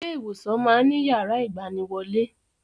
Ilé ìwòsàn máa ń ní yàrá ìgbaniwọlé